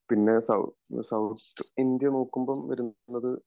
പിന്നെ south India നോക്കുമ്പോ വരുന്നത്